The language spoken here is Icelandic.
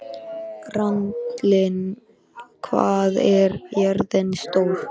Randalín, hvað er jörðin stór?